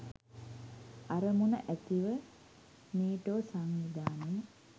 අරමුණ ඇතිව නේටෝ සංවිධානය